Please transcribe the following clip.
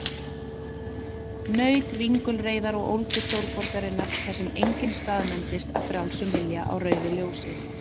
Naut ringulreiðar og ólgu stórborgarinnar, þar sem enginn staðnæmist af frjálsum vilja á rauðu ljósi.